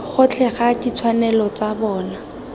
gotlhe ga ditshwanelo tsa bona